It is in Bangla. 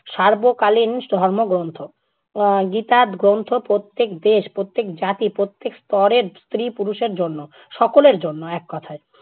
সার্বকালীন ধর্মগ্রন্থ। উম গীতা গ্রন্থ প্রত্যেক দেশ, প্রত্যেক জাতি, প্রত্যেক স্তরের স্ত্রী-পুরুষের জন্য, সকলের জন্য এককথায়।